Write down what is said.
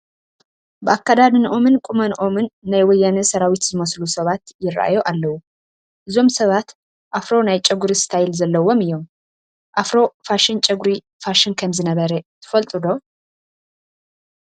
ብኣከዳድንኦምን ቁመንኦምን ናይ ወያነ ሰራዊት ዝመስሉ ሰባት ይርአዩ ኣለዉ፡፡ እዞም ሰባት ኣፍሮ ናይ ጨጉሪ ስታይል ዘለዎም እዮም፡፡ ኣፍሮ ፋሽን ጨጉሪ ፋሽን ከምዝነበረ ትፈልጡ ዶ?